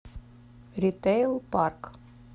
ритэйл парк